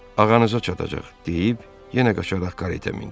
Ağanızı çatacaq, deyib yenə qaçaraq karetə mindi.